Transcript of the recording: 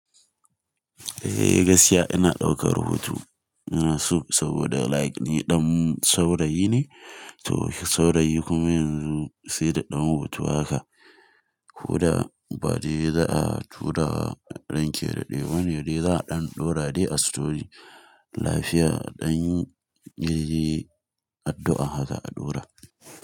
Eh gaskiya ina ɗaukar hoto ina so saboda like ni ɗan saurayi ne to shi saurayi kuma yanzu sai da ɗan hoto haka. Ko da bade za a turawa ranki ya daɗe ba ne dai za a ɗan ɗora dai a story. Lafiya dan yanzu addu'a haka za a ɗora.